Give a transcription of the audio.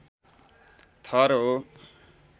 थर हो